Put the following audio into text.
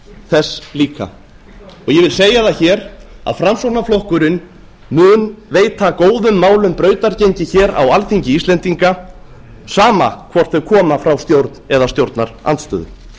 þess líka ég vil segja það hér að framsóknarflokkurinn mun veita góðum málum brautargengi hér á alþingi íslendinga sama hvort þau koma frá stjórn eða stjórnarandstöðu